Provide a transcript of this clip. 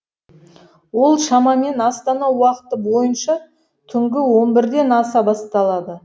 ол шамамен астана уақыты бойынша түнгі он бірден аса басталады